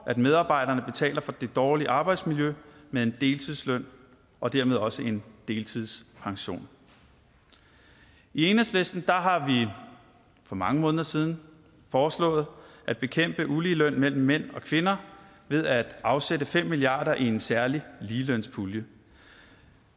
at medarbejderne betaler for det dårlige arbejdsmiljø med en deltidsløn og dermed også en deltidspension i enhedslisten har vi for mange måneder siden foreslået at bekæmpe uligeløn mellem mænd og kvinder ved at afsætte fem milliard kroner i en særlig ligelønspulje